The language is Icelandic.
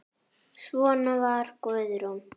Svona var Guðrún.